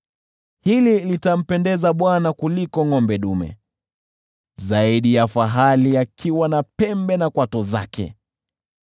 Hili litampendeza Bwana kuliko ngʼombe dume, zaidi ya fahali akiwa na pembe na kwato zake.